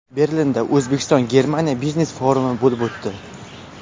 Berlinda O‘zbekiston-Germaniya biznes-forumi bo‘lib o‘tdi.